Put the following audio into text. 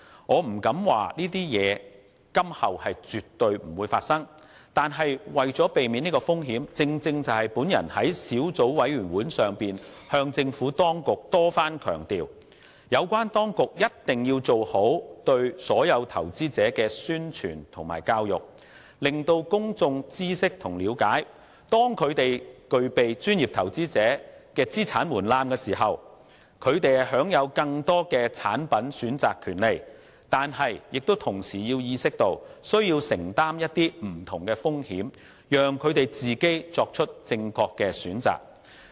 我不敢說這些情況今後絕不會發生，但是，為了避免這些風險——正如我在小組委員會上向政府當局多番強調——有關當局一定要做好宣傳和教育工作，令公眾知悉和了解，當他們具備專業投資者的資產門檻時，雖享有更多的產品選擇權利，但同時要意識到自己需承擔不同風險，須自行作出正確選擇。